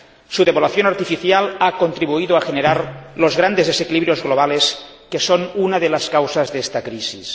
Su devaluación artificial ha contribuido a generar los grandes desequilibrios globales que son una de las causas de esta crisis.